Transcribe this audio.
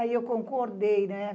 Aí eu concordei, né?